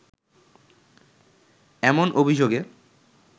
এমন অভিযোগে